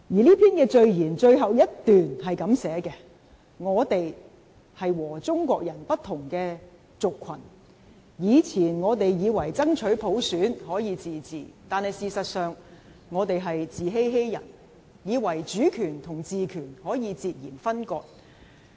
這篇序言最後一段是這樣寫，"我們是和中國人不同的族群，以前我們以為爭取普選可以自治，但事實上，我們在自欺欺人，以為主權與治權可以截然分割。